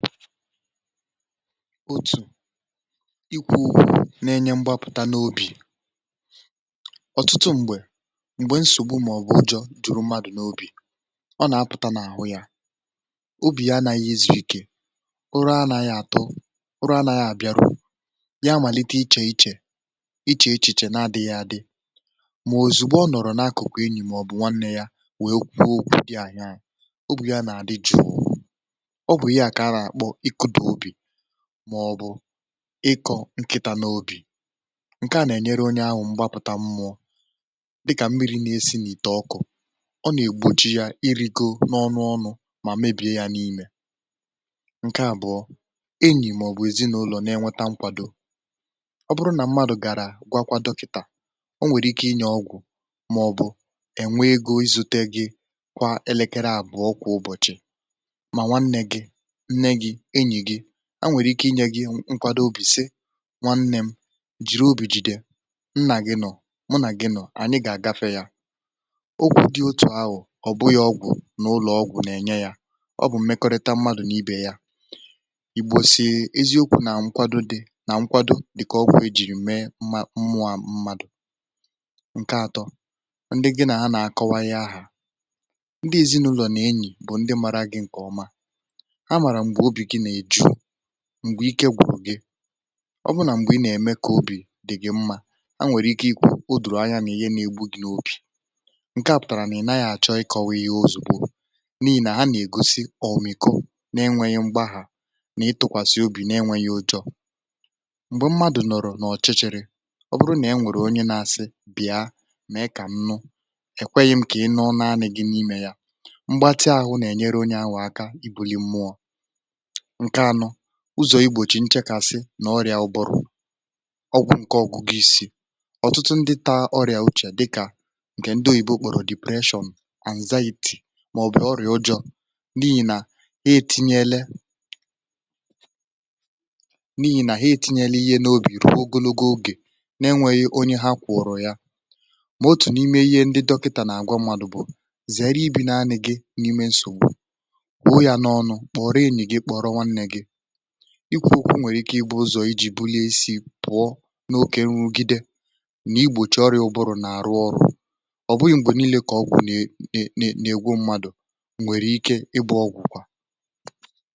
otù ikwuù na-enye mgbapụ̀ta n’obì ọ̀tụtụ um mgbè mgbe nsògbu màọbụ̀ ụjọ̀ jùrù mmadụ̀ n’obì, ọ nà-apụ̀ta n’àhụ yȧ, obì ya anȧghị izùikė, ụrụ anȧghị àtọ, ụrụ anȧghị àbiarụ ya màlite ichèichè ichèichè na-adịghị adị. mà òzùgbo ọ nọ̀rọ̀ n’akụ̀kụ̀ enyì màọbụ̀ nwanne ya wee kwuo okwu dị ànya ànya ȧ, obì ya nà-àdị jụ̀ụ̀ màọ̀bụ̀ ịkọ̇ nkịtȧ n’obì ǹke à nà-ènyere onye ahụ̀ mgbapụ̀ta mmụọ dịkà mmiri̇ nà-esìnì ìtè ọkụ̇. ọ nà-ègbochi yȧ irigò n’ọnụ̇ ọnu̇ mà mebìe ya n’imė. ǹke àbụ̀ọ enyì màọ̀bụ̀ èzinụlọ̀ na-ènweta nkwàdo ọ bụrụ nà mmadụ̀ gàrà gwakwado kìtà, o nwèrè ike inyè ọgwụ̀ màọ̀bụ̀ ènwee egȯ izute gị̇ kwa elekere àbụ̀ọ kwà ụbọ̀chị̀. a nwèrè ike inye gị nkwado obì, sị, “nwanne m um jìri obì jìdè, nnà gị nọ̀, m nà gị nọ̀, ànyị gà-àgafė yȧ.” ọgwụ dị otù ahụ̀ ọ̀ bụ yȧ ọgwụ̀ n’ụlọ̀ ọgwụ̀ n’ènye yȧ, ọ bụ̀ mmekọrịta m̀madụ̇ n’ibè ya igbu̇si̇e eziokwu̇ nà nkwado dị̇ nà nkwado dị̀ kà ọgwụ̇ èjìrì mee mụ̇à mmadụ̀. ndị atọ, ndị gị nà ha nà-akọwa yȧ ahụ̀, ndị èzinụlọ̀ nà enyì bụ̀ ndị mara gị̇ ǹkè ọma m̀gbe ike gbùgị, ọ bụ nà mgbe ị nà-ème kà obì dị̀ gi̇ mmȧ, ha nwèrè ike ikwu̇ odòrò anya n’ihe nȧ-ėgbu̇ dị̇ n’opì, nke à pụ̀tàrà nà ị nà ya àchọ ikọ̇wȧ ihe ozùkwu, n’ihì nà ha nà-ègosi ọ̀mìko na-enwėghi̇ mgbaghà nà-ịtụ̇kwàsị̀ obì na-enwėghi̇ ojọ̇. m̀gbè mmadụ̀ nọ̀rọ̀ n’ọ̀chịchịrị, ọ bụrụ nà enwèrè onye na-asị, “bì̀a,” mà ị kà nnu, èkweghị̇ m̀kà ị nọọ na-anà gị n’imė ya mgbatị ȧhụ̇ nà-ènyere onye ahụ̇aka ibuli mmụ̇ọ̇, ụzọ̀ igbòchi nchekasị nà ọrịà ụbọrọ ọgwụ̇. ǹke ọgụ̀ gị isi̇ ọ̀tụtụ ndị ta ọrịà uchè, dịkà ǹkè ndị oyìbo kpọ̀rọ̀ depression àǹzȧyìtì màọ̀bụ̀ ọrịà ụjọ̇, n’ihì nà e eti̇nyèle n’ihì nà ha eti̇nyèlè ihe n’obi, ìru ogologo ogè, na-enwėghì onye ha kwọ̀rọ̀ yȧ. mà otù n’ime ihe ndị dọkịtà nà àgwọ mmadù bụ̀ zère ibi̇ naanị̇ gị n’ime nsògbu — ịbụ̀ ụzọ̀ à bùrù n’àlụghị̇ ọrụ, èkwu ekwė, òtù nwèrè ike ịbụ̇ ụzọ̀ ịjị̇ bulie isi pụ̀ọ n’okė n’ugìdè, n’igbòchi ọrịà ụbụrụ n’àrụ ọrụ̇. ọ̀ bụghị̇ mgbè niilė kà ọgwụ̀ nà è n’egwu, mmadù nwèrè ike ịbụ̇ ọgwụ̀ kwà.